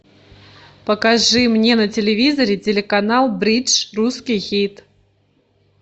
покажи мне на телевизоре телеканал бридж русский хит